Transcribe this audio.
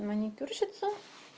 маникюрщица